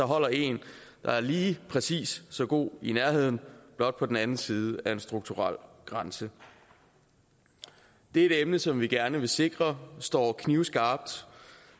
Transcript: holder en der er lige præcis så god i nærheden blot på den anden side af en strukturel grænse det er et emne som vi gerne vil sikre står knivskarpt